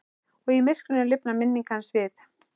Og í myrkrinu lifnar minning hans við.